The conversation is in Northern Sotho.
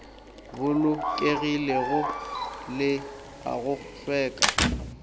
bolokegilego le a go hlweka